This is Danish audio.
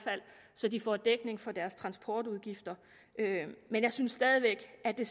så de får dækning for deres transportudgifter men jeg synes stadig væk at det